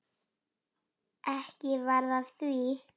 Ekki varð af því.